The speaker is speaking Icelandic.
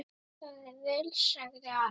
Það er vel, sagði Ari.